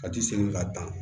Ka ti segin ka dan